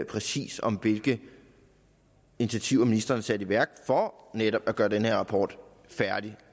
præcis om hvilke initiativer ministeren har sat i værk for netop at gøre den her rapport færdig